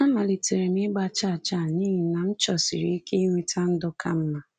Amalitere m ịgba chaa chaa n’ihi na m chọsiri ike inweta ndụ ka mma.